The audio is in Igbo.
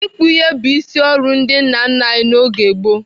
Ịkpụ ihe bụ isi ọrụ ndị nna nna anyị n'oge gboo.